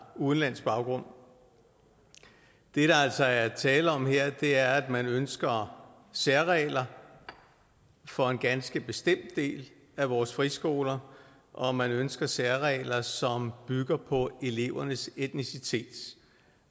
udenlandsk baggrund det der altså er tale om her er at man ønsker særregler for en ganske bestemt del af vores friskoler og at man ønsker særregler som bygger på elevernes etnicitet